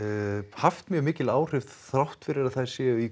haft mjög mikil áhrif þrátt fyrir að þær séu í